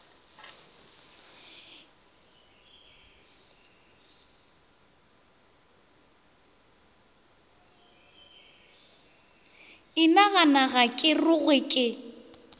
inagana ga ke rogwe ke